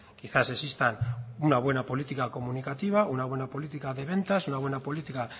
quizás existan una buena política comunicativa una buena política de ventas una buena política